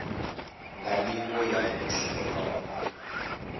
nga nivho ya muthu onoyo